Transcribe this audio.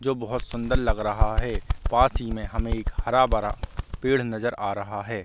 जो बोहत सुन्दर लग रहा है। पास ही में हमें एक हरा-भरा पेड़ नज़र आ रहा है।